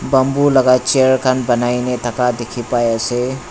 bamboo laka chair khan banaina thaka dikhipaiase.